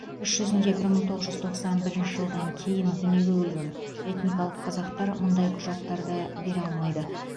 іс жүзінде бір мың тоғыз жүз тоқсан бірінші жылдан кейін дүниеге көлген этникалық қазақтар мұндай құжаттарды бере алмайды